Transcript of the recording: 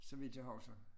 Så vidt jeg husker